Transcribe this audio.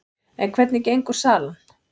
En hvernig gengur salan?